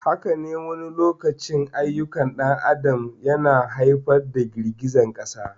Haka ne, wani lokacin ayyukan ɗan adam yana haifar da girgizar ƙasa.